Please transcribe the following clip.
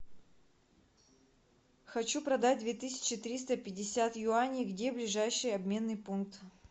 хочу продать две тысячи триста пятьдесят юаней где ближайший обменный пункт